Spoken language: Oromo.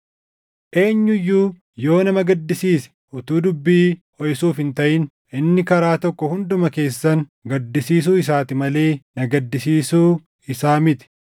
Eenyu iyyuu yoo nama gaddisiise utuu dubbii hoʼisuuf hin taʼin inni karaa tokko hunduma keessan gaddisiisuu isaati malee na gaddisiisuu isaa miti.